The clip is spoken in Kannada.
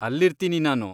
ಅಲ್ಲಿರ್ತೀನಿ ನಾನು.